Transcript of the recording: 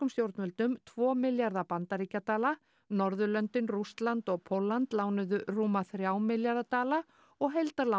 stjórnvöldum tvo milljarða bandaríkjadala Norðurlöndin Rússland og Pólland lánuðu rúma þrjá milljarða dala og